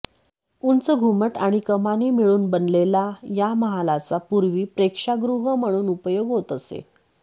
उंच घुमट आणि कमानी मिळून बनलेला या महालाचा पूर्वी प्रेक्षागृह म्हणून उपयोग होत असे